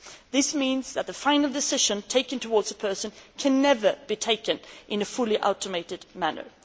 This means that the final decision taken towards a person can never be taken in a fully automated manner.